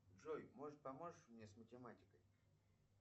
джой может поможешь мне с математикой